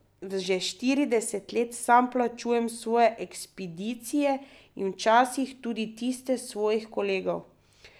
Že štirideset let sam plačujem svoje ekspedicije in včasih tudi tiste svojih kolegov.